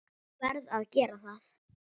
Verð að gera það.